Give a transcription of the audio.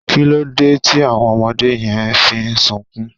kilode ti àwọn ọmọdé yen fi n sunkún